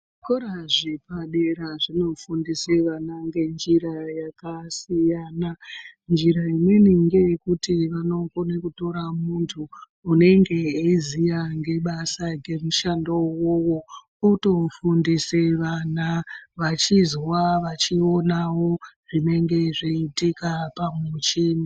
Zvikora zvepadera zvinofundise vana ngenjira yakasiyana. Njira imweni ngeyekuti vanokone kutora muntu unenge aiziya ngebasa ngemushando uwowo otofundisa vana vachizwa vachionawo zvinenge zvichiitika pamuchini.